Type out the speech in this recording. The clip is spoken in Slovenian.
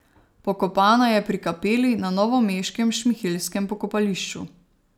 Pokopana je pri kapeli na novomeškem šmihelskem pokopališču.